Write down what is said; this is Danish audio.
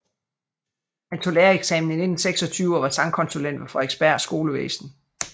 Han tog lærereksamen i 1926 og var sangkonsulent ved Frederiksberg Skolevæsen